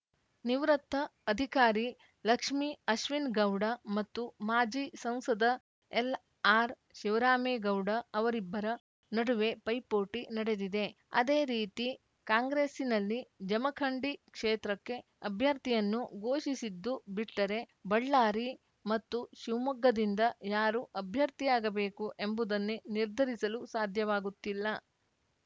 ನಿವೃತ್ತ ಅಧಿಕಾರಿ ಲಕ್ಷ್ಮಿ ಅಶ್ವಿನ್‌ಗೌಡ ಮತ್ತು ಮಾಜಿ ಸಂಸದ ಎಲ್‌ಆರ್‌ಶಿವರಾಮೇಗೌಡ ಅವರಿಬ್ಬರ ನಡುವೆ ಪೈಪೋಟಿ ನಡೆದಿದೆ ಅದೇ ರೀತಿ ಕಾಂಗ್ರೆಸ್ಸಿನಲ್ಲಿ ಜಮಖಂಡಿ ಕ್ಷೇತ್ರಕ್ಕೆ ಅಭ್ಯರ್ಥಿಯನ್ನು ಘೋಷಿಸಿದ್ದು ಬಿಟ್ಟರೆ ಬಳ್ಳಾರಿ ಮತ್ತು ಶಿವಮೊಗ್ಗದಿಂದ ಯಾರು ಅಭ್ಯರ್ಥಿಯಾಗಬೇಕು ಎಂಬುದನ್ನೇ ನಿರ್ಧರಿಸಲು ಸಾಧ್ಯವಾಗುತ್ತಿಲ್ಲ